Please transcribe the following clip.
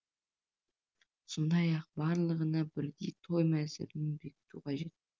сондай ақ барлығына бірдей той мәзірін бекіту қажет